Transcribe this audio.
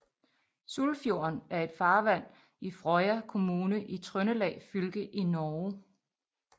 Sulfjorden er en farvand i Frøya kommune i Trøndelag fylke i Norge